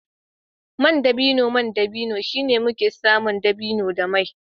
mai dabino mai dabino shine inda muke samun dabino da mai